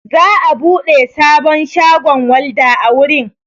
Za'a buɗe sabon shagon walda a wurin.